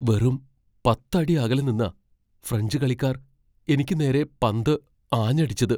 വെറും പത്ത് അടി അകലെ നിന്നാ ഫ്രഞ്ച് കളിക്കാർ എനിക്ക് നേരെ പന്ത് ആഞ്ഞടിച്ചത്.